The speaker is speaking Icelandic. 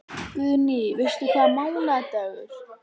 Guðný: Veistu hvaða mánaðardagur?